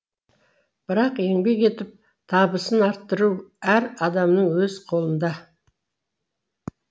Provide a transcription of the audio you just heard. бірақ еңбек етіп табысын арттыру әр адамның өз қолында